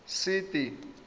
sete